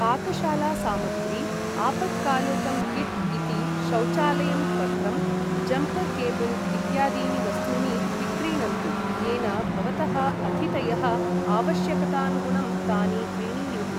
पाकशालासामग्री, आपत्कालोकं किट् इति, शौचालय पत्रं, जम्पर् केबल् इत्यादीनि वस्तूनि विक्रीणन्तु येन भवतः अतिथयः आवश्यकतानुगुणं तानि क्रीणीयुः।